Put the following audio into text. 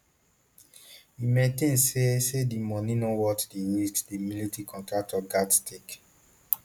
e maintain say say di money no worth di risks di military contractors gatz take